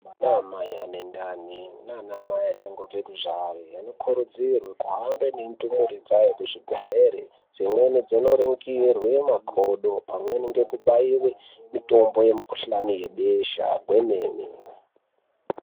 Ana mai ane ndani nana mai vachangobva kubara vanokurudzirwa kuhambe nendumura dzawo kuzvibhedhlera Dzimwnei dziboningirwa makodo pamweni nekubaiwa mitombo yemikuhlani kwebesha kwemene.